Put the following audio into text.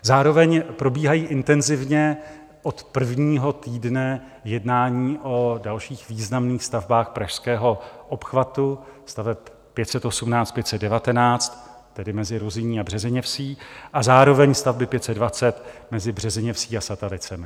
Zároveň probíhají intenzivně od prvního týdne jednání o dalších významných stavbách pražského obchvatu, staveb 518, 519, tedy mezi Ruzyní a Březiněvsí, a zároveň stavby 520 mezi Březiněvsí a Satalicemi.